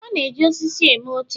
A na-eji osisi eme oche